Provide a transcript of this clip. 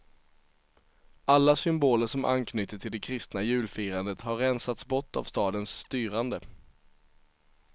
Alla symboler som anknyter till det kristna julfirandet har rensats bort av stadens styrande.